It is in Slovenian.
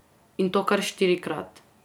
In to kar štirikrat.